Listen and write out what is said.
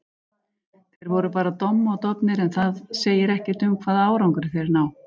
Þeir voru bara domm og dofnir, en það segir ekkert um hvaða árangri þeir ná.